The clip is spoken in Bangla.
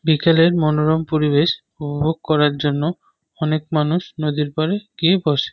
বিকেলের মনোরম পরিবেশ অনুভব করার জন্য অনেক মানুষ নদীর পাড়ে গিয়ে বসে।